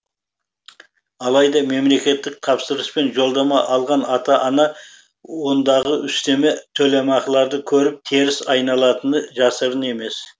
алайда мемлекеттік тапсырыспен жолдама алған ата ана ондағы үстеме төлемақыларды көріп теріс айналатыны жасырын емес